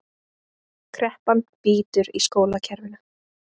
Kreppan bítur í skólakerfinu